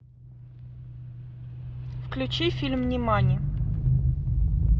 включи фильм нимани